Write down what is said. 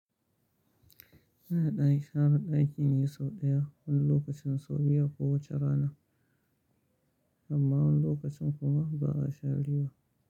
Ana ɗaya sharr ɗaƙi ne sau ɗaya wani lokacin sau biyu a kowace rana. Wani lokutan kuma ba a sha ali ba.